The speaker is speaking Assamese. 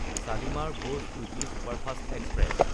শালিমাৰ–ভোজ উইকলি ছুপাৰফাষ্ট এক্সপ্ৰেছ